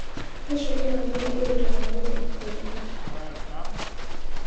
Nĩ cukuru nini irutanaga ũrĩmi bũrũri-nĩ